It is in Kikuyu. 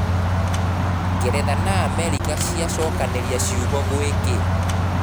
Ngeretha na Amerika nĩ ciacukaniria ciugo -gwi ki?